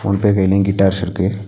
மூணு பேர் கைலயு கிட்டார்ஸ் இருக்கு.